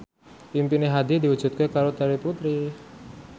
impine Hadi diwujudke karo Terry Putri